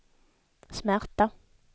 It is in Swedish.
smärta